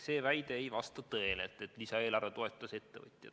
See ei vasta tõele, et lisaeelarve toetas vaid ettevõtjaid.